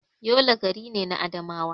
Yola gari ne na Adamawa.